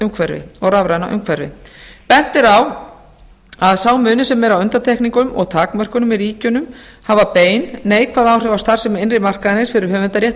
umhverfi og rafræna umhverfi bent er á að sá munur sem er á undantekningum og takmörkunum í ríkjunum hafa bein neikvæð áhrif á starfsemi innri markaðarins fyrir starfsemi innri markaðarins fyrir höfundarrétt og